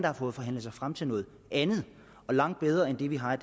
har fået forhandlet sig frem til noget andet og langt bedre end det vi har